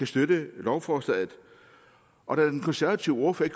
støtte lovforslaget og da den konservative ordfører